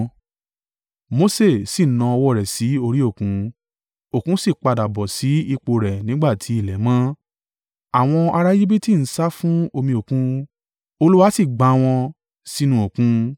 Mose sì na ọwọ́ rẹ̀ sí orí òkun, òkun sì padà bọ́ sí ipò rẹ̀ nígbà ti ilẹ̀ mọ́. Àwọn ará Ejibiti ń sá fún omi òkun, Olúwa sì gbá wọn sínú òkun.